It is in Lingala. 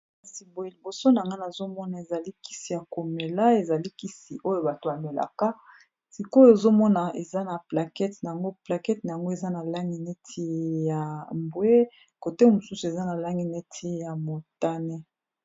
kasi boye liboso na ngana azomona ezalikisi ya komela ezalikisi oyo bato bamelaka sikoyo ezomona eza na plakete n yngo plakete na yango eza na lange neti ya mbwe kote mosusu eza na lange neti ya motane